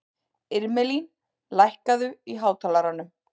Irmelín, lækkaðu í hátalaranum.